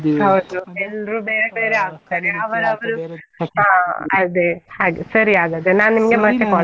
ಎಲ್ರು ಬೇರೆ ಹಾ ಅದೇ, ಹಾಗೆ ಸರಿ ಹಾಗಾದ್ರೆ, .